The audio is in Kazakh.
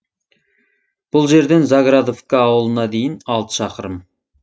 бұл жерден заградовка ауылына дейін алты шақырым